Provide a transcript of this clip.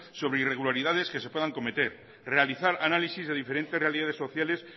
sobre irregularidades que se puedan cometer realizar análisis de diferentes realidades sociales